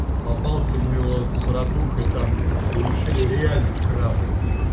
попался мы его с братухай там уличили реально в краже